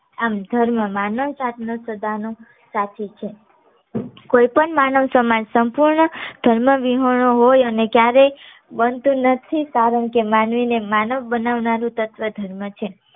આમ ધર્મ માનવતા ના સદા નો સાથી છે. કોઈ પણ માનવ સમાજ સંપૂર્ણ ધર્મ વિહોર્નો હોઈ અને ક્યારે બનતું નથી કારણકે માનવી ને માનવ બનાવનારું તત્વ ધર્મ છે